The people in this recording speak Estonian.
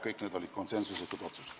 Aitäh!